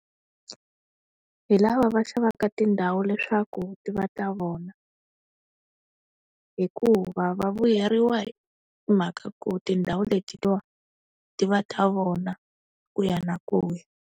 Hi lava va xavaka tindhawu leswaku ti va ta vona. Hikuva va vuyeriwa hi mhaka ku tindhawu leti tiwa, ti va ta vona, ku ya na ku ya.